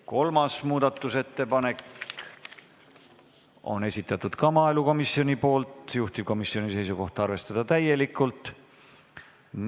Kolmanda muudatusettepaneku on esitanud ka maaelukomisjon, juhtivkomisjoni seisukoht: arvestada täielikult.